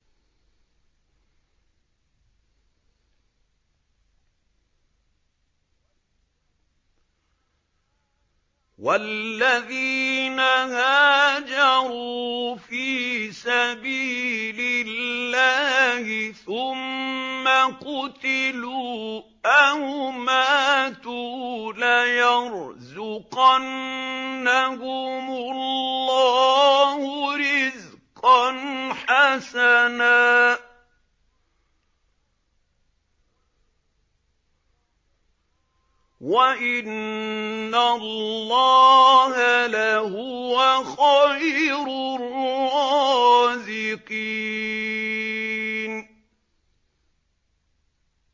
وَالَّذِينَ هَاجَرُوا فِي سَبِيلِ اللَّهِ ثُمَّ قُتِلُوا أَوْ مَاتُوا لَيَرْزُقَنَّهُمُ اللَّهُ رِزْقًا حَسَنًا ۚ وَإِنَّ اللَّهَ لَهُوَ خَيْرُ الرَّازِقِينَ